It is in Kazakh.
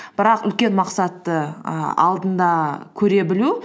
бірақ үлкен мақсатты і алдында көре білу